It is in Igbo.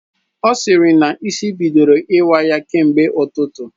Ọ sịrị na isi bidoro iwa ya kemgbe ụtụtụ